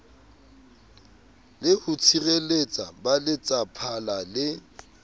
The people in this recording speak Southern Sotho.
le ho tshireletsa baletsaphala le